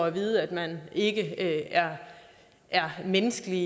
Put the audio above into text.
at vide at man ikke er menneskelig